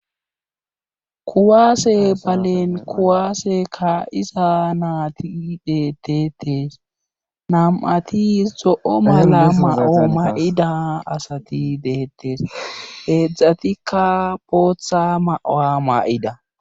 kuwaase balen kuwaase kaa7iza naati deettetes nam7ati zo7o mala ma7o may7ida asati beettes heezdzdatikka bootha ma7uwa ma7ida.